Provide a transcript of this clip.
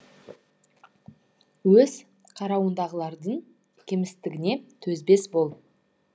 өз қарауыңдағылардың кемістігіне төзбес бол